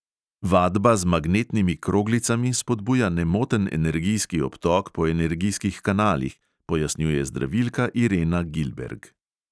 Vadba z magnetnimi kroglicami spodbuja nemoten energijski obtok po energijskih kanalih, pojasnjuje zdravilka irena gilberg.